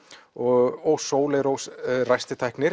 og Sóley Rós ræstitæknir